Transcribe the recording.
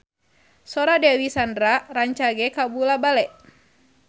Sora Dewi Sandra rancage kabula-bale